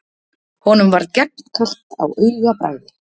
Honum varð gegnkalt á augabragði.